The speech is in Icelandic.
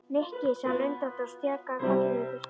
Nikki sagði hún undrandi og stjakaði karlinum í burtu.